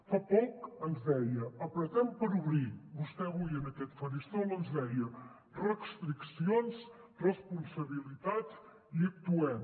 fa poc ens deia apretem per obrir vostè avui en aquest faristol ens deia restriccions responsabilitats i actuem